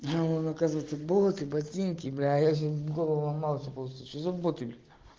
а он оказывается боты ботинки бляя а я сейчас голову ломал все думал что за боты блять